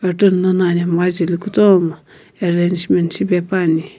carton lono anhemgha jeli kutomo arrangement shipepuani.